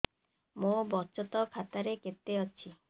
ମୋ ବଚତ ଖାତା ରେ କେତେ ଅଛି